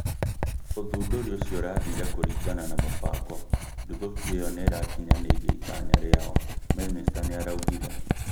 ũthundũri ũcio ũrathire kũringana na mũbango, nduthoki ĩyo nĩĩrakinyanĩirie itanya rĩayo," minista nĩaraũgire